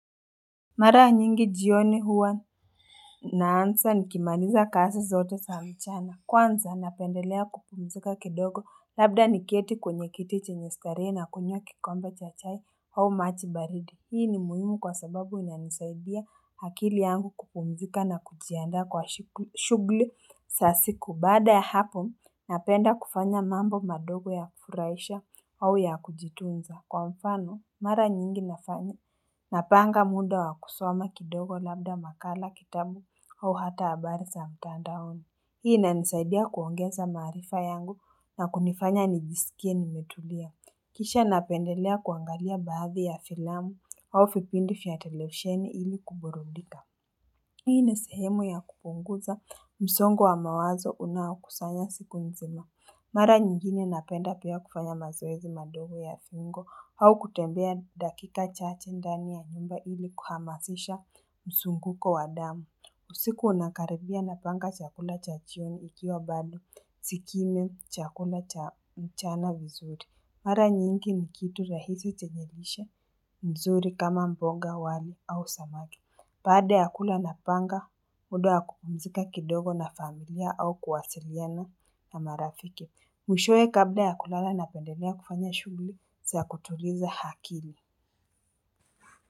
Mara nyingi jioni huwa naansa nikimaliza kazi zote zamchana kwanza napendelea kupumzika kidogo labda niketi kwenyekiti chenyestarehe na kunywa kikombe cha chai au maji baridi hii ni muhimu kwa sababu inanisaidia akili yangu kupumzika na kujiandaa kwa shughli sasiku baada ya hapo napenda kufanya mambo madogo ya kufurahisha au ya kujitunza Kwa mfano, mara nyingi nafanya. Napanga muda wa kusoma kidogo labda makala kitabu au hata habarisa mtandaoni. Hii ina nisaidia kuongeza maarifa yangu na kunifanya nijisikie nimetulia. Kisha napendelea kuangalia baadhi ya filamu au vipindi fyatelevisheni ili kuburudika. Hii na sehemu ya kupunguza msongo wa mawazo unaokusanya siku nzima. Mara nyingine napenda pia kufanya mazoezi madogo ya viungo au kutembea dakika chache ndani ya nyumba ili kuhamasisha msunguko wadamu. Usiku unakaribia napanga chakula chachioni ikiwa bado sikini chakula mchana vizuri. Mara nyingi nikitu rahisi chenyelishe nzuri kama mboga wali au samaki. Baada ya kula na panga, muda ya kupumzika kidogo na familia au kuwasiliana na marafiki. Mwishowe kabda ya kulala na pendelea kufanya shughli, za kutuliza akili.